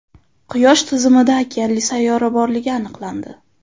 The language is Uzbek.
Quyosh tizimida okeanli sayyora borligi aniqlandi.